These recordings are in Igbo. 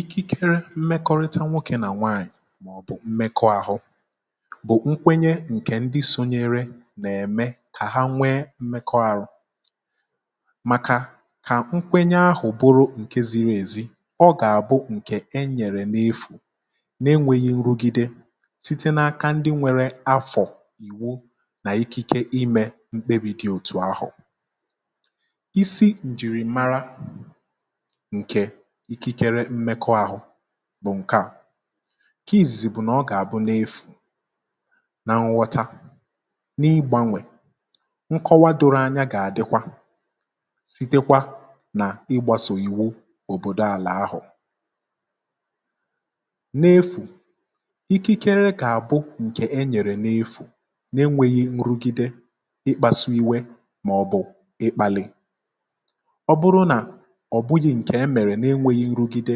Ikikere mmekọrịta nwokè nà nwaànyị̀ maọ̀bụ̀ mmekọàhụ bụ̀ nkwenye ǹkè ndị sonyere nà-ème kà ha nwee mmekọàhụ, màkà kà nkwenye ahụ̀ bụrụ ǹke ziri èzi ọ gà-àbụ ǹkè e nyèrè n’efù nà-enwėghi nrụgide site n’aka ndị nwere afọ̀ ìwu nà ikike imė mkpebì dị òtù ahụ̀. Isi ǹjìrìmara ǹke ikikere mmekọàhu bú nke à, nke izìzì bụ̀ nà ọ gà-àbụ n’efù, nà nghọta, n’igbȧnwè, nkọwa doro anya gà-àdịkwa sitekwa nà igbȧsòyiwu òbòdò àlà ahụ̀, n’efù ikikere gà-àbụ ǹkè e nyèrè n’efù n’enwėghi nrugide, ịkpȧsụ iwe màọ̀bụ̀ ịkpȧlị̀. Ọ bụrụ na ọ bụghị nke emere na-enweghi nrụgide,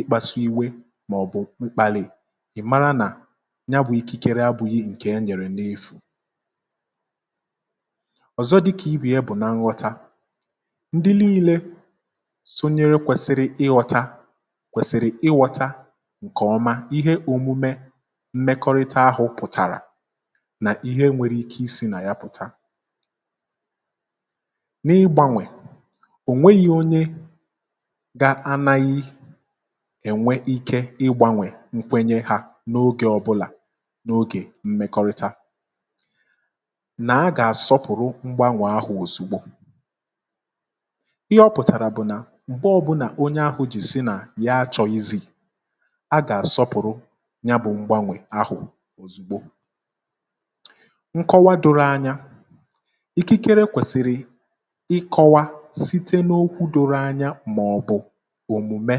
ịkpasụ iwe màọ̀bụ̀ mkpàlì ị̀ mara nà ya bụ̇ ikikere abụ̇ghị̇ ǹkè e nyèrè n’efù. Ọ̀zọ dịkà ibè ya bụ̀ na nghọta ndị nii̇lė sonyere kwèsiri ịghọta kwèsiri ịghọta ǹkèọma ihe òmume mmekọrịta ahụ̇ pụ̀tàrà nà ihe nwere ike isi̇ nà ya pụ̀ta, n’ịgbȧnwè ọ nweghị onye ga-anaghị ènwe ike ị gbanwè nkwenye hȧ n’ogè ọbụlà n’ogè mmekọrịta nà a gà-àsọ pụ̀rụ mgbanwè ahụ̀ òzìgbo, ihe ọ pụ̀tàrà bụ̀ nà mgbe ọbụnà onye ahụ̀ jì si nà ya achọ̀ghịzì, a gà-àsọpụ̀rụ ya bụ̇ mgbanwè ahụ̀ òzìgbo. Nkọwa doro anya, ìkikere kwèsìrì ịkọ̇wa site n’okwu doro anya mà ọ̀bụ̀ omume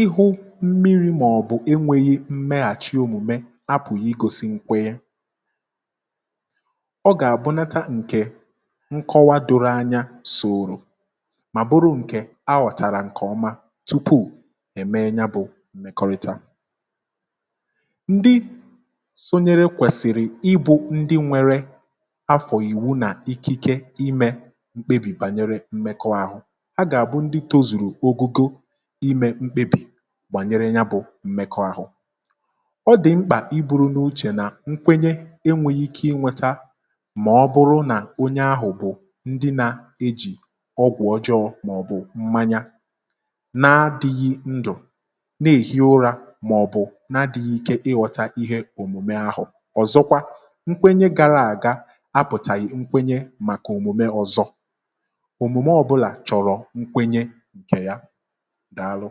ihu mmiri mà ọ̀ bụ̀ enwėghi mmeghàchi òmùme a pụ̀ghị igosi nkwenye, ọ gà-àbụnata ǹkè nkọwa doro anya sòrò mà bụrụ ǹkè aghọ̀tàrà ǹkè ọma tupuù è mee ya bụ̇ m̀mekọrịta, ndị sonyere kwèsìrì ibu̇ ndị nwere afọ̀ ìwu nà ikike imė mkpebì bànyere mmekọahụ, ha ga bụ ndị tozuru ogogo ímé mkpebi gbànyere ya bụ̇ m̀mekọ ahụ̇. Ọ dị̀ mkpà i buru n’uchè nà nkwenye enwèghị̇ ike ị nweta mà ọ bụrụ nà onye ahụ̀ bụ̀ ndị nȧ-ejì ọgwụ̀ ọjọọ màọ̀bụ̀ mmanya na-adịghị̇ ndụ̀ na-èhi ụrȧ màọ̀bụ̀ na-adịghị̇ ike ịghọ̇ta ihe òmùme ahụ̀, ọ̀zọkwa nkwenye gara àga a bụ̀tàghị nkwenye màkà òmùme ọ̀zọ, òmùme ọbụ̇là chọrọ nkwenye ǹkè ya daa lụ.